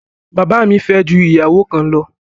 Bàbá mi fẹ́ ju ìyàwó kan lọ.